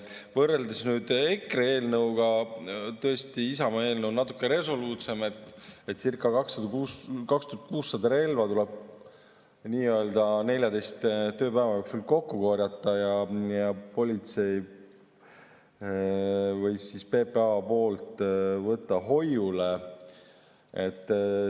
Võrreldes nüüd EKRE eelnõuga, siis tõesti, Isamaa eelnõu on natuke resoluutsem, circa 2600 relva tuleb 14 tööpäeva jooksul kokku korjata ja PPA‑l hoiule võtta.